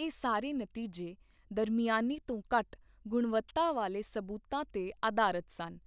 ਇਹ ਸਾਰੇ ਨਤੀਜੇ ਦਰਮਿਆਨੀ ਤੋਂ ਘੱਟ ਗੁਣਵੱਤਾ ਵਾਲੇ ਸਬੂਤਾਂ 'ਤੇ ਅਧਾਰਤ ਸਨ,